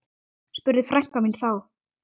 spurði frænka mín þá.